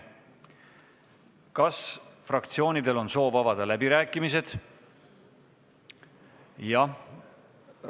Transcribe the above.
Kas fraktsioonidel on soovi pidada läbirääkimisi?